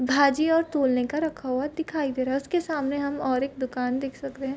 भाजी और तोलने का रखा हुआ दिखाई दे रहा है उसके सामने हम और एक दुकान देख सकते है।